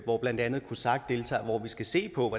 hvor blandt andet cosac deltager og hvor vi skal se på